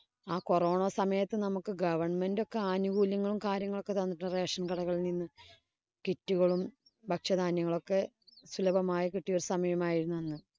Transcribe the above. ആ corona സമയത്ത് നമ്മുക്ക് government ഒക്കെ ആനൂകൂല്യങ്ങളും കാര്യങ്ങളും ഒക്കെ തന്നിട്ടുണ്ട്. Rasion കടകളില്‍ നിന്നും kit ഉകളും ഭക്ഷ്യ ധാന്യങ്ങളൊക്കെ സുലഭമായി കിട്ടിയ ഒരു സമയം ആയിരുന്നു.